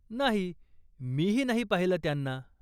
नाही, मीही नाही पाहिलं त्यांना.